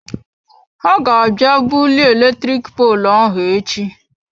He ga abịa bulie eletrik poolụ ahụ echi.